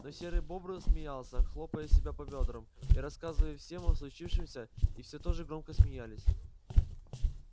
но серый бобр смеялся хлопая себя по бёдрам и рассказывал всем о случившемся и все тоже громко смеялись